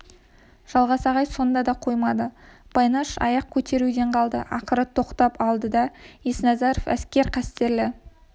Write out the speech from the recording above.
жалғас ағай сонда да қоймады байнаш аяқ көтеруден қалды ақыры тоқтатып алды да есназаров әскер қастерлі